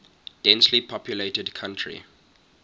densely populated country